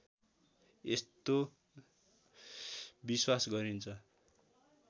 यस्तो विश्वास गरिन्छ